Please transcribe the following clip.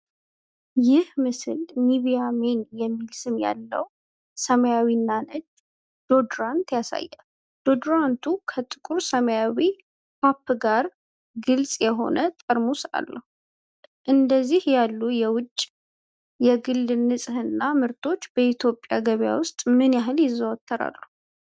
ይህ ምስል "NIVEA MEN" የሚል ስም ያለው ሰማያዊና ነጭ ዲኦድራንት ያሳያል። ዲኦድራንቱ ከጥቁር ሰማያዊ ካፕ ጋር ግልጽ የሆነ ጠርሙስ አለው። እንደዚህ ያሉ የውጭ የግል ንፅህና ምርቶች በኢትዮጵያ ገበያ ውስጥ ምን ያህል ይዘወተራሉ?